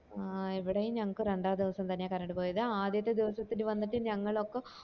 ആഹ് ഇവിടെയും ഞങ്ങള്ക് രണ്ടാം ദിവസം തന്നെയാ കറണ്ട് പോയത് ആദ്യത്തില് ദിവസം വന്നിട്ട് ഞങ്ങളൊക്ക